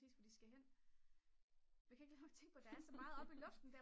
lipræcis hvor de skal hen men jeg kan ikke lade være med at tænke på at der er så meget oppe i luften